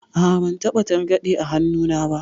A'a, ban taɓa targaɗe a hannuna ba.